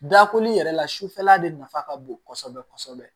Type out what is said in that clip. Dakoli yɛrɛ la sufɛla de nafa ka bon kosɛbɛ kosɛbɛ